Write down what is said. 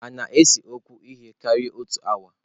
Hà na-ese okwu ihe karịrị otu awa?